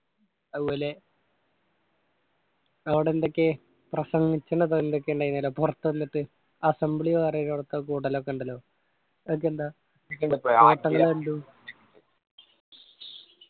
അതുപോലെ അവിടെ എന്തൊക്കെ പ്രസംഗിച്ച തൊല്ലയൊക്കെ ഉണ്ടയിനല്ലോ പുറത്തു എന്നിട്ട് asembly വേറെ കൂടലൊക്കെ ഉണ്ടല്ലോ അതൊക്കെയെന്താ